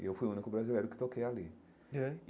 E eu fui o único brasileiro que toquei ali é.